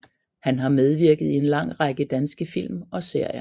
Han har medvirket i en lang række danske film og serier